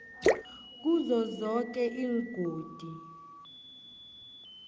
kizo zoke iingodi